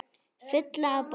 Fulla af boðum.